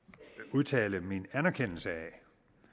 udtale min anerkendelse af at